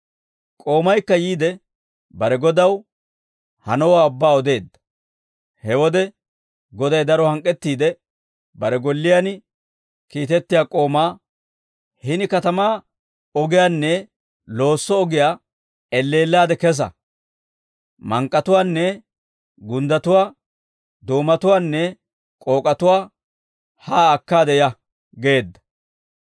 «K'oomaykka yiide bare godaw, hanowaa ubbaa odeedda. He wode Goday daro hank'k'ettiide, bare golliyaan kiitettiyaa k'oomaa, ‹Hini katamaa ogiyaanne loosso ogiyaa elleellaade kesa; mank'k'atuwaanne gunddatuwaa, doomatuwaanne k'ook'atuwaa haa akkaade ya› geedda.